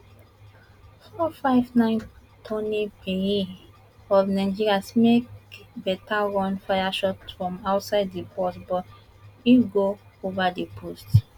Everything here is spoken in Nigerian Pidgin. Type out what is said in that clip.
four five nine toni payen of nigeria make beta run fire shot from outside di box but e go over di post